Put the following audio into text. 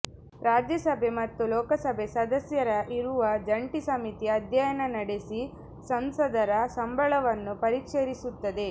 ರಾಜ್ಯಸಭೆ ಮತ್ತು ಲೋಕಸಭೆ ಸದಸ್ಯರ ಇರುವ ಜಂಟಿ ಸಮಿತಿ ಅಧ್ಯಯನ ನಡೆಸಿ ಸಂಸದರ ಸಂಬಳವನ್ನು ಪರಿಷ್ಕರಿಸುತ್ತದೆ